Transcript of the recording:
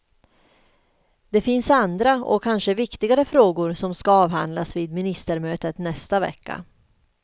Det finns andra och kanske viktigare frågor som skall avhandlas vid ministermötet nästa vecka.